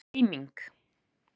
Hvað er eiming?